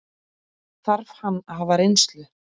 Þarf hann að hafa reynslu?